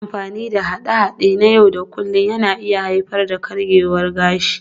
Yin amfani da haɗe-haɗe na yau da kullun na iya haifar da karyewar gashi